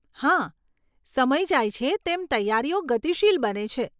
હા, સમય જાય છે, તેમ તૈયારીઓ ગતિશીલ બને છે.